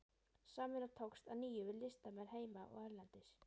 Samvinna tókst að nýju við listamenn heima og erlendis.